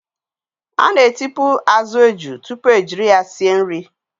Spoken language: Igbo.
A na-etipu azụ eju tupu ejiri ya sie nri.